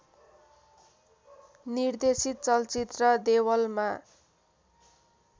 निर्देशित चलचित्र देवलमा